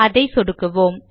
அதை சொடுக்குவோம்